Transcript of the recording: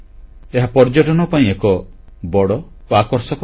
ଏହା ପର୍ଯ୍ୟଟନ ପାଇଁ ଏକ ବଡ଼ ଓ ଆକର୍ଷକ ସ୍ଥାନ